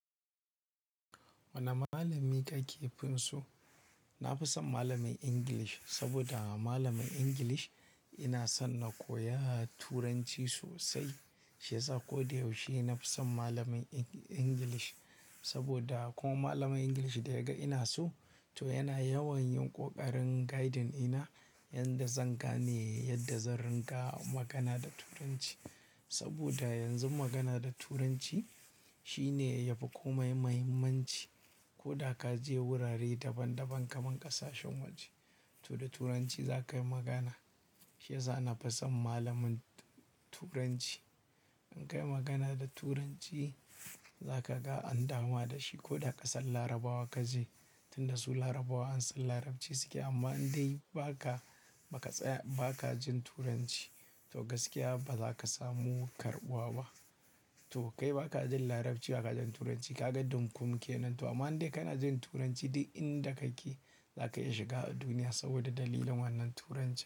Wani malami ka ke fim so? Na fi son malamin English saboda malamin English ina so na koya Turanci sosai. Shi yasa ko da yaushe na fi son malamin English saboda kuma malamin English da yaga ina so, to yana yawan yin ƙoƙarin guiding ina yadda zan gane yadda zan ringa magana da Turanci. Saboda yanzu magana da Turanci shine yafi komai muhimmanci. Ko da ka je wurare daban daban kamar ƙasashen waje, to da Turanci za ka yi magana. Shi yasa na fi son malamin Turanci. In ka yi magana da Turanci za ka ga an dama da shi ko da ƙasar Larabawa ka je. Tun da su Larabawa an san Larabci suke amma in dai ba ka, ba ka, ba ka jin Turanci to gaskiya ba za ka samu karɓuwa ba. To kai ba ka jin Larabci, ba ka jin Turanci, ka ga dunkum kenan. To amma in dai ka na jin Turanci duk inda kake za ka iya shiga duniya saboda dalilin wannan Turancin.